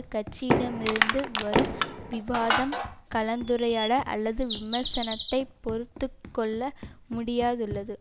கட்சியிடமிருந்து வரும் விவாதம் கலந்துரையாடல் அல்லது விமர்சனத்தை பொறுத்துக்கொள்ள முடியாதுள்ளது